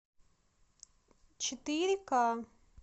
четыре ка